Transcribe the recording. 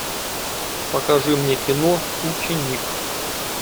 покажи мне кино ученик